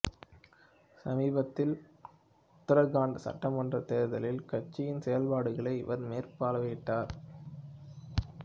சமீபத்தில் உத்தரகண்ட் சட்டமன்றத் தேர்தலில் கட்சியின் செயல்பாடுகளை இவர் மேற்பார்வையிட்டார்